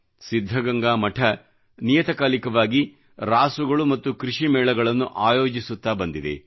ಸಿದ್ಧಗಂಗಾ ಮಠ ನಿಯತಕಾಲಿಕವಾಗಿ ರಾಸುಗಳು ಮತ್ತು ಕೃಷಿ ಮೇಳಗಳನ್ನು ಆಯೋಜಿಸುತ್ತಾ ಬಂದಿದೆ